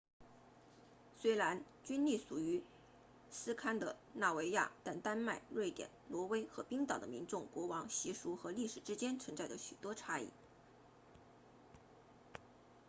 虽然均隶属于斯堪的纳维亚但丹麦瑞典挪威和冰岛的民众国王习俗和历史之间存在着许多差异